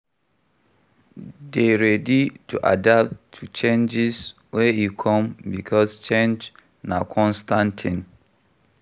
Dey ready to adapt to changes when e come because change na constant thing